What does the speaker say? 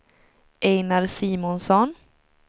Ejnar Simonsson